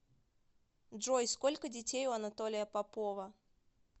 джой сколько детей у анатолия попова